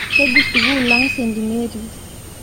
Kejii sukulang st Mary's